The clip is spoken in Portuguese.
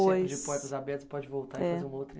Sempre de portas abertas, você pode voltar e fazer uma outra